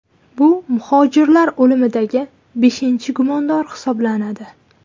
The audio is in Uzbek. Bu muhojirlar o‘limidagi beshinchi gumondor hisoblanadi.